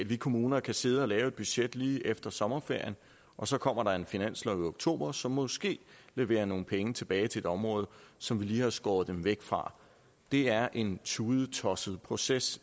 vi kommuner kan sidde og lave et budget lige efter sommerferien og så kommer der en finanslov i oktober som måske leverer nogle penge tilbage til et område som vi lige har skåret dem væk fra det er en tudetosset proces